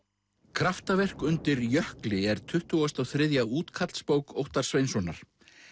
kraftaverk undir jökli er tuttugu og þrjú útkallsbók Óttars Sveinssonar